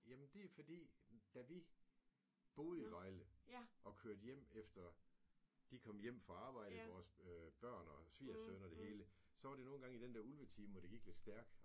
Jamen det er fordi da vi boede i Vejle og kørte hjem efter de kom hjem fra arbejde vores børn og svigersøn og det hele så var det nogengange i den der ulvetime hvor det gik lidt stærkt